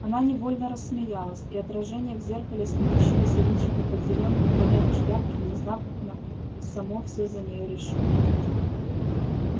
она невольно рассмеялась и отражение в зеркале смеющегося личика под зелёными полями шляпки внезапно само всё за неё решило